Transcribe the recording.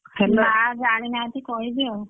ମାଆ ଜାଣିନାହାନ୍ତି କହିବି ଆଉ।